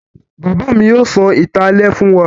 Bàbá mi yóò sọ ìtàn alẹ́ fún wa